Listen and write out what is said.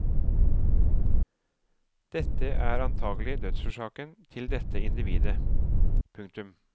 Dette er antagelig dødsårsaken til dette individet. punktum